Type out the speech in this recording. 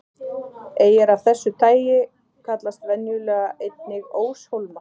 Eyjar af þessu tagi kallast venjulega einnig óshólmar.